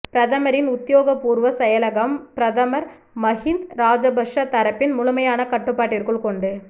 பிரதமரின் உத்தியோகபூர்வ செயலகம் பிரதமர் மஹிந்த ராஜபக்ஷ தரப்பின் முழுமையான கட்டுப்பாட்டிற்குள் கொண்டு